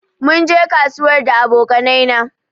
Mun je kasuwar da aboƙanai na